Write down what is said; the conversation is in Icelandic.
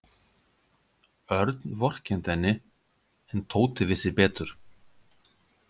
Örn vorkenndi henni en Tóti vissi betur.